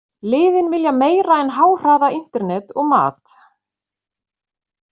Liðin vilja meira en háhraða internet og mat.